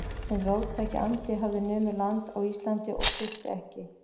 Hinn róttæki andi hafði numið land á Íslandi og þurfti ekki